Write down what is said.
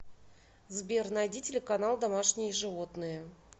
сбер найди телеканал домашние животные